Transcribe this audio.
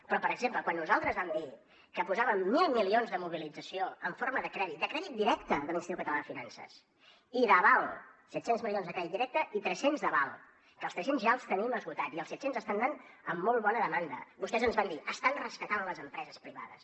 però per exemple quan nosaltres vam dir que posàvem mil milions de mobilització en forma de crèdit de crèdit directe de l’institut català de finances i d’aval set cents milions de crèdit directe i tres cents d’aval que els tres cents ja els tenim esgotats i els set cents estan anant amb molt bona demanda vostès ens van dir estan rescatant les empreses privades